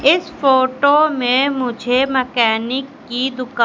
इस फोटो में मुझे मकैनिक की दुका--